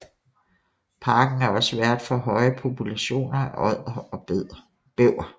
Parken er også vært for høje populationer af odder og bæver